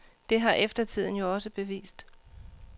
Det har eftertiden jo også bevist.